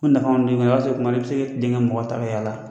Ko nafa kɔni don i kun tuma dɔw la i bɛ se ka tilen ka mɔgɔ ta ka yaala